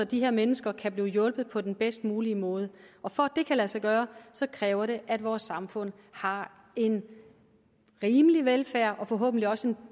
de her mennesker kan blive hjulpet på den bedst mulige måde og for at det kan lade sig gøre kræver det at vores samfund har en rimelig velfærd og forhåbentlig også en